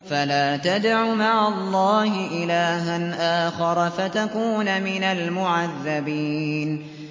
فَلَا تَدْعُ مَعَ اللَّهِ إِلَٰهًا آخَرَ فَتَكُونَ مِنَ الْمُعَذَّبِينَ